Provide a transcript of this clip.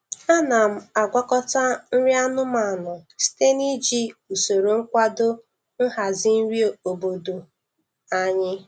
Ana m agwakọta nri anụmanụ site na iji usoro nkwado nhazi nri obodo anyị.